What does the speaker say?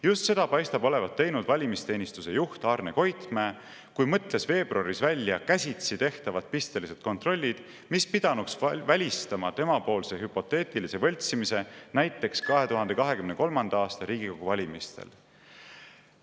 Just seda paistab olevat teinud valimisteenistuse juht Arne Koitmäe, kui mõtles veebruaris välja käsitsi tehtavad pistelised kontrollid, mis pidanuks välistama temapoolse hüpoteetilise võltsimise näiteks 2023. aasta Riigikogu valimistel.